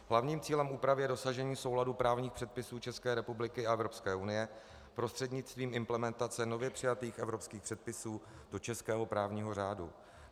Hlavním cílem úpravy je dosažení souladu právních předpisů České republiky a Evropské unie prostřednictvím implementace nově přijatých evropských předpisů do českého právního řádu.